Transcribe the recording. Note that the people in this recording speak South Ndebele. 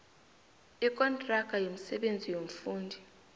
ikontraga yomsebenzi yomfundi